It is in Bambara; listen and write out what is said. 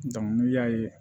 n'i y'a ye